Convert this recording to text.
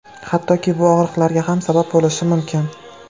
Hattoki bu og‘riqlarga ham sabab bo‘lishi mumkin.